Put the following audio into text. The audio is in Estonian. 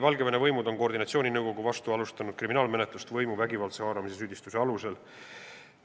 Valgevene võimud on aga koordinatsiooninõukogu vastu võimu vägivaldse haaramise süüdistuse alusel kriminaalmenetlust alustanud.